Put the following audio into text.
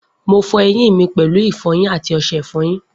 Mo fọ eyín mi pèlú ìfọyín àti ọṣẹ ìfọyín